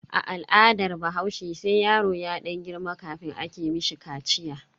A al'adar bahaushe sai yaro ya dan girma kafin ake mishi kaciya.